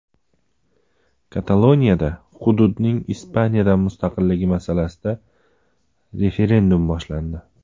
Kataloniyada hududning Ispaniyadan mustaqilligi masalasida referendum boshlandi.